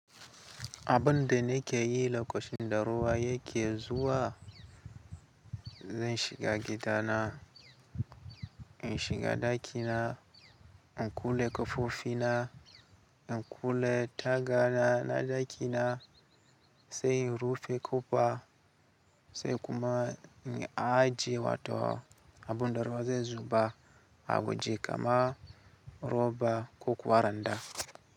Abinda nake yi lokacin da ruwa yake zuwa, zan shiga gidana, in shiga ɗakina, in kule ƙofofina, in kule tagana na ɗakina, sai in rufe ƙofa sai in kuma in ajiye wato abin da ruwa zai zuba. Abu je kama roba ko kuwa randa.